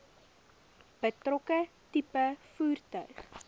betrokke tipe voertuig